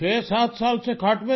7 سال سے کھاٹ پے تھی